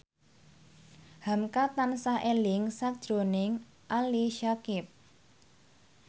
hamka tansah eling sakjroning Ali Syakieb